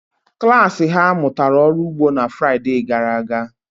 Klas ha mụtara ọrụ ugbo na Fraịde gara aga.